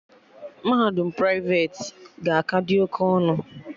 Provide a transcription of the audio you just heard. Mahadum praiveti ga-aka dị oke ọnụ